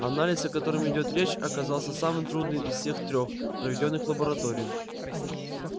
анализ о котором идёт речь оказался самым трудным из всех трёх проведённых в лаборатории